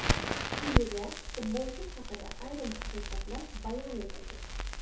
Quyida, futbolchi haqida ayrim haqiqatlar bayon etilgan.